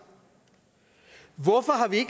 hvorfor har vi